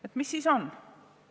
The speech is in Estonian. Et mis siis on?